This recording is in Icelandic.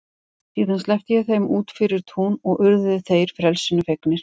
Síðan sleppti ég þeim út fyrir tún og urðu þeir frelsinu fegnir.